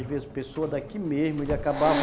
Às vezes, pessoa daqui mesmo, ele acabava